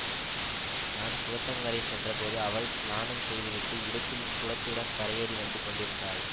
நான் குளத்தங்கரை சென்றபோது அவள் ஸ்நானம் செய்துவிட்டு இடுப்பில் குலத்துடன் கரையேறி வந்து கொண்டிருந்தாள்